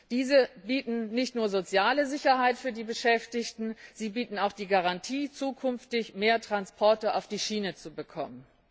Diese bieten nicht nur soziale Sicherheit für die Beschäftigten, sie bieten auch die Garantie, zukünftig mehr Transporte auf die Schiene zu bekommen.